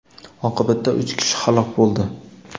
Oqibatda uch kishi halok bo‘ldi.